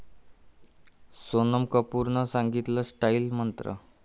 सोनम कपूरनं सांगितला स्टाईल मंत्र!